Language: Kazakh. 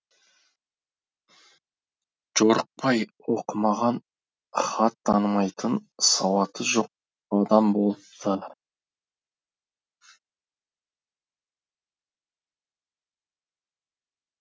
жорықбай оқымаған хат танымайтын сауаты жоқ адам болыпты